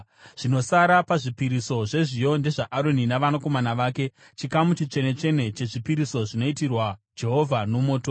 Zvinosara pazvipiriso zvezviyo ndezvaAroni navanakomana vake, chikamu chitsvene-tsvene chezvipiriso zvinoitirwa Jehovha nomoto.